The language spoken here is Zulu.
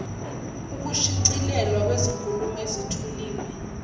ukushicilelwa kwezinkulumo ezithuliwe